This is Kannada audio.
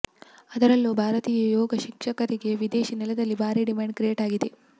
ಅದರಲ್ಲೂ ಭಾರತೀಯ ಯೋಗ ಶಿಕ್ಷಕರಿಗೆ ವಿದೇಶಿ ನೆಲದಲ್ಲಿ ಭಾರೀ ಡಿಮಾಂಡ್ ಕ್ರಿಯೇಟ್ ಆಗಿದೆ